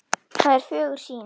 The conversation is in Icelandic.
Það er fögur sýn.